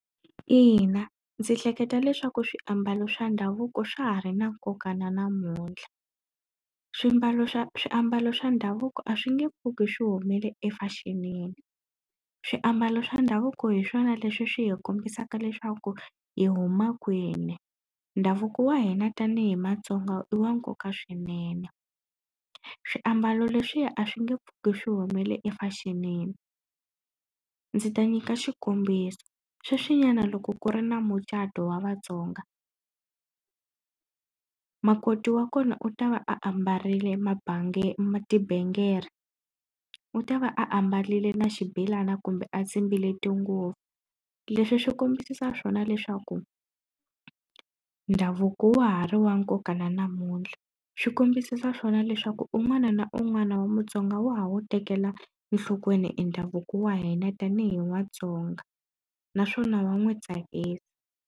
Ina ndzi hleketa leswaku swiambalo swa ndhavuko swa ha ri na nkoka na namuntlha. Swimbalo swa swiambalo swa ndhavuko a swi nge pfuki swi humele efexinini. Swiambalo swa ndhavuko hi swona leswi swi hi kombisaka leswaku hi huma kwini, ndhavuko wa hina tanihi Matsonga i wa nkoka swinene. Swiambalo leswiya a swi nge pfuki swi humile efexinini. Ndzi ta nyika xikombiso, sweswinyana loko ku ri na mucato wa Vatsonga, makoti wa kona u ta va a ambarile tibengere, u ta va a ambarile na xibelani kumbe a tsimbile tinguva. Leswi swi kombisa swona leswaku ndhavuko wa ha ri wa nkoka na namuntlha. Swi kombisisa swona leswaku un'wana na un'wana wa Mutsonga wa ha wu tekela enhlokweni i ndhavuko wa hina tanihi Matsonga naswona wa n'wi tsakisa.